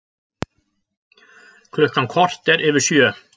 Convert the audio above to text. Klukkan korter yfir sjö